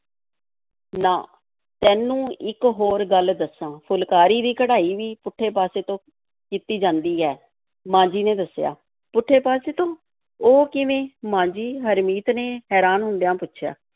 ਨਾ, ਤੈਨੂੰ ਇੱਕ ਹੋਰ ਗੱਲ ਦੱਸਾਂ, ਫੁਲਕਾਰੀ ਦੀ ਕਢਾਈ ਵੀ ਪੁੱਠੇ ਪਾਸੇ ਤੋਂ ਕੀਤੀ ਜਾਂਦੀ ਹੈ, ਮਾਂ ਜੀ ਨੇ ਦੱਸਿਆ, ਪੁੱਠੇ ਪਾਸੇ ਤੋਂ, ਉਹ ਕਿਵੇਂ, ਮਾਂ ਜੀ? ਹਰਮੀਤ ਨੇ ਹੈਰਾਨ ਹੁੰਦਿਆਂ ਪੁੱਛਿਆ।